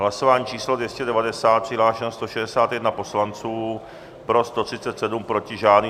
Hlasování číslo 290, přihlášeno 161 poslanců, pro 137, proti žádný.